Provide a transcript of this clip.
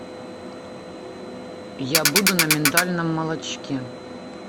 я буду на миндальном молочке